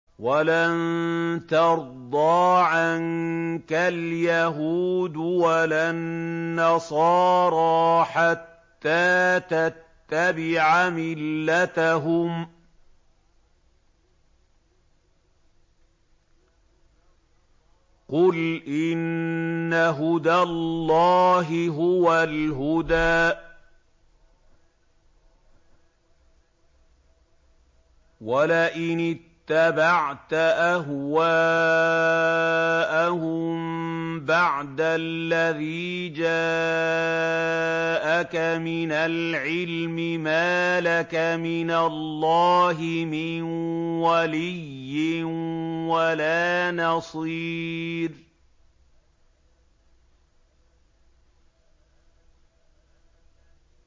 وَلَن تَرْضَىٰ عَنكَ الْيَهُودُ وَلَا النَّصَارَىٰ حَتَّىٰ تَتَّبِعَ مِلَّتَهُمْ ۗ قُلْ إِنَّ هُدَى اللَّهِ هُوَ الْهُدَىٰ ۗ وَلَئِنِ اتَّبَعْتَ أَهْوَاءَهُم بَعْدَ الَّذِي جَاءَكَ مِنَ الْعِلْمِ ۙ مَا لَكَ مِنَ اللَّهِ مِن وَلِيٍّ وَلَا نَصِيرٍ